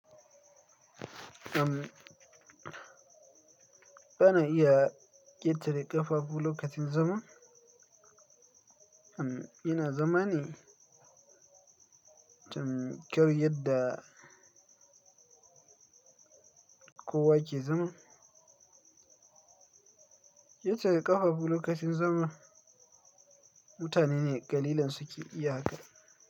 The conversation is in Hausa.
Uhm, ana iya ƙetare ƙafafu lokacin zama. Uhm, yana zama ne, tam kar yadda kowa ke zama. Ƙetare ƙafafu lokacin zama mutane ne ƙalilan suke iya haka.